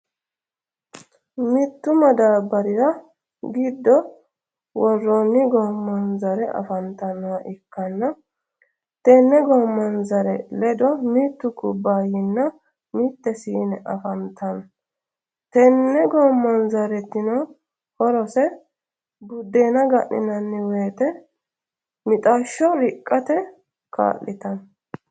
mittu madabarira giddo woroonni gomanzare afanitannoha ikanna tenne gomanzare leddo mittu kubaayinna mitte siinne afantanno tenne gomanzaretinno horose budenna ga'ninani woyite mixasho riqatte ka'litanno